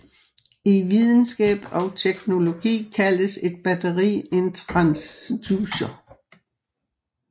I videnskab og teknologi kaldes et batteri en transducer